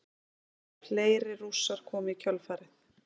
Fleiri Rússar komu í kjölfarið.